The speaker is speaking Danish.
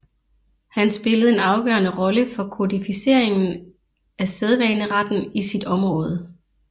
Han spillede en afgørende rolle for kodificeringen af sædvaneretten i sit område